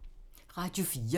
Radio 4